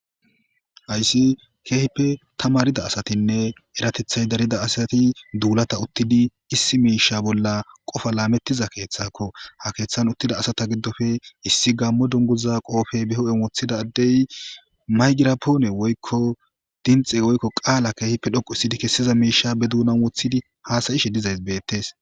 Hayssi keehipe ta marida asatinne eratethay darida asati duulata uttidi issi miisha bolla qofa laamettiza keeththakko ha keeththan uttida asata giddofe issi gammo dunguza qoofe beho7en woththida addey maygirapoone woykko dinxe woykko qaala keehipe dhoqu issidi kessiza miisha be duunan woththidi haasayishe dizays beettes.